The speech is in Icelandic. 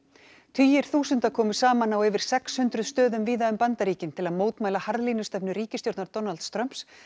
tugir þúsunda komu saman á yfir sex hundruð stöðum víða um Bandaríkin til að mótmæla harðlínustefnu ríkisstjórnar Donalds Trumps